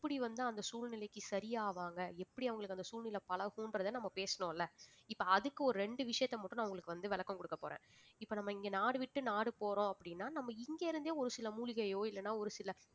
எப்படி வந்து அந்த சூழ்நிலைக்கு சரி ஆவாங்க எப்படி அவங்களுக்கு அந்த சூழ்நிலை பழகும்ன்றதை நம்ம பேசணும்ல இப்ப அதுக்கு ஒரு ரெண்டு விஷயத்தை மட்டும் நான் உங்களுக்கு வந்து விளக்கம் குடுக்கப் போறேன் இப்ப நம்ம இங்க நாடு விட்டு நாடு போறோம் அப்படின்னா நம்ம இங்க இருந்தே ஒரு சில மூலிகையோ இல்லைன்னா ஒரு சில